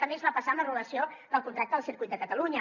també ens va passar amb l’anul·lació del contracte del circuit de catalunya